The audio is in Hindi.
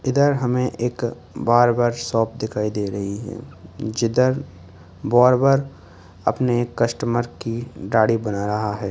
इधर हमें एक बार्बर शॉप दिखाई दे रही है जिधर बोरबर अपने कस्टमर की दाढ़ी बना रहा है।